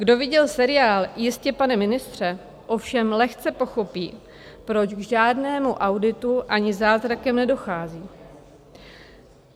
Kdo viděl seriál Jistě, pane ministře, ovšem lehce pochopí, proč k žádnému auditu ani zázrakem nedochází.